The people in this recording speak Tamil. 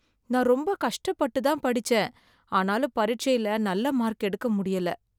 நான் ரொம்ப கஷ்டப்பட்டு தான் படிச்சேன், ஆனாலும் பரிட்சைல நல்ல மார்க் எடுக்க முடியல.